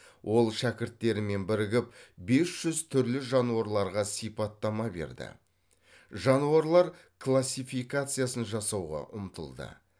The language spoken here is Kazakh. ол шәкірттерімен бірігіп бес жүз түрлі жануарларға сипаттама берді жануарлар классификациясын жасауға ұмтылды